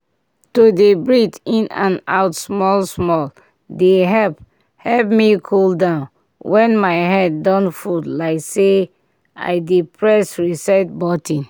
to dey breathe in and out small-small dey help help me cool down when my head don full like say i dey press reset button.